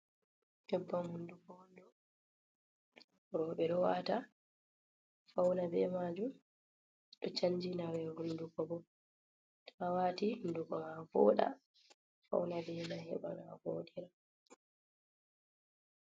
Nyebbam hunduko on ɗo, roɓe ɗowata fauna be majum sanjina ɓe hunduko bo, to a waati hunduko ma voɗa, fauna be mai heɓa no a vodirta.